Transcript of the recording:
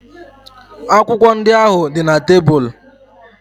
Akwụkwọ ndị ahụ dị na tebụl.